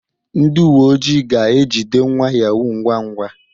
Ndị uwe ojii ga-ejide nwa yahoo ngwa ngwa